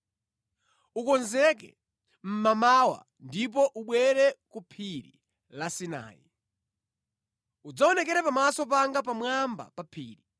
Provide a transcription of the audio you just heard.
Ukonzeke mmamawa, ndipo ubwere ku Phiri la Sinai. Udzaonekera pamaso panga pamwamba pa phiri.